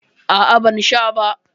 A'a, ban sha ba.